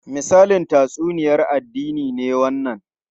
Misalin tatsuniyar addini ne wannan?